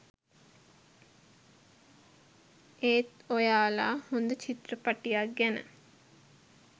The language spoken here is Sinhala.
ඒත් ඔයාලා හොඳ චිත්‍රපටයක් ගැන